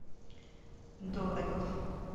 дорогов